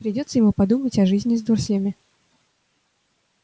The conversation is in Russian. придётся ему подумать о жизни с дурслями